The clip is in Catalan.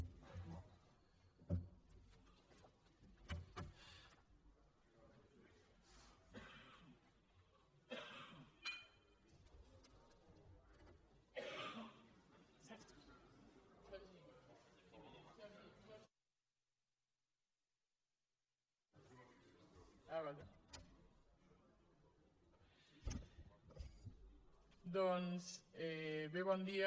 doncs bé bon dia